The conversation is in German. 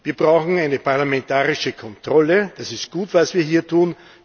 Wir brauchen eine parlamentarische Kontrolle das ist gut, was wir hier tun.